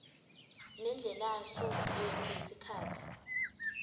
nendlelasu yetfu yesikhatsi